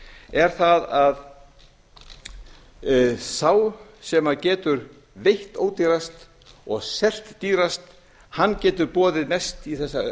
er það að þá sem getur veitt ódýrast og selt dýrast hann getur boðið mest í þessar